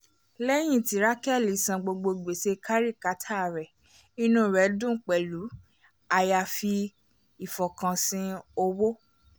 léyìn tí rákélí san gbogbo gbèsè kárìkítà rẹ inú rẹ dùn pẹ̀lú àyàfi ìfọkànsìn owó